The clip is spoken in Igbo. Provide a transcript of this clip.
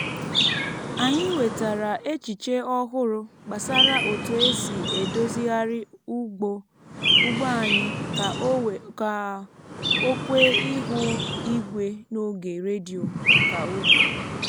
anyị nwetara echiche ọhụrụ gbasara otu esi edozigharị ugbo anyị ka o kwee ihu igwe n’oge redio nka ugbo